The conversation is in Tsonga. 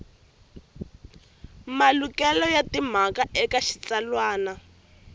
malukelo ya timhaka eka xitsalwana